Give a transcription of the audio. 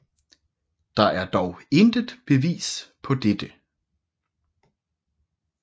Der er dog intet bevis på dette